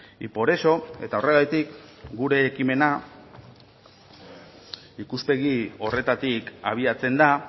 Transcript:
y por eso eta horregatik gure ekimena ikuspegi horretatik abiatzen da